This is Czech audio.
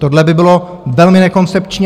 Tohle by bylo velmi nekoncepční.